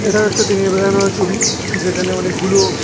এটা একটা দিনের বেলা নেওয়া ছবি যেখানে অনেকগুলো--